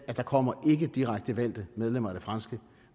der kommer ikke direkte valgte medlemmer